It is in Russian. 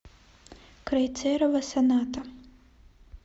крейцерова соната